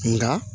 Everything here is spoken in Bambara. Nka